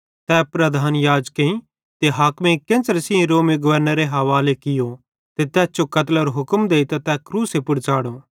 तै प्रधान याजकेईं ते हाकिमेइं केन्च़रे सेइं रोमी गवर्नरे हवाले कियो ते तैस जो कतलेरे हुक्म देइतां तै क्रूस पुड़ च़ाढ़ो